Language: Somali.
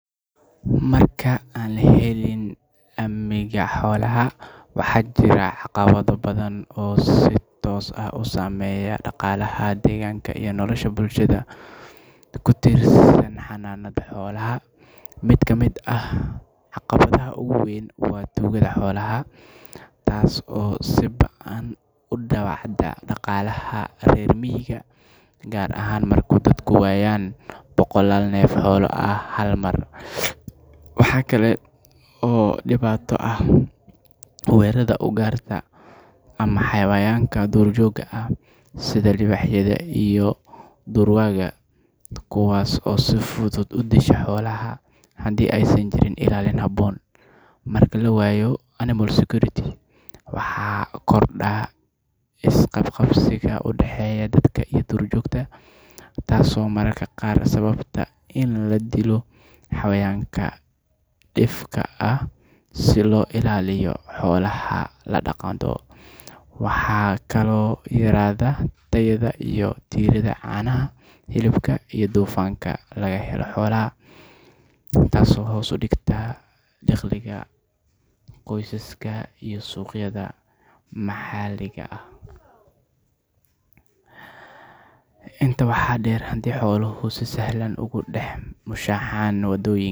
Marka aan lahelin amigaa xolaha waxa jira aqaawada badan si tosa usameya daqalaha deeganka iyo nolosha bulshadda kutirsaan xananada xolaha mid ka mid ah haqab tiraha uguweyn waa tukaada xolaha taasi oo siibaan uu dawecaada daqaalaha reer miiga gaar ahaan marku daadka weyaan boqolaal neef ah hal mar waaxa kale oo dibaato ah weraada ugaarta hayawanka durka joog ah sidha libahyadha iyo durwaaga kuwas oo si fudud udiigasha xolaha haadey saan jiirin ilaalin habon marka lawayo Aminal Security waxa korda iqabqabsiga udaaxeya daadka iyo dur joogta mararka qaar sababta lo dilo hayawanka difka ah si lo ilaaliyo xolaha ladaqdo waaxa kalo yaraada iridaa caanaha iyo dufaanka laga helo xolaha taaso hos udigta diqliga qosaska iyo suqyadha maxa degaa ah inta wa deer xolohu sifican ugu dax mushaxaan